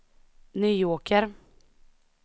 Nyåker